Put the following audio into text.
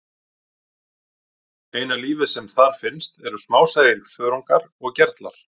Eina lífið sem þar finnst eru smásæir þörungar og gerlar.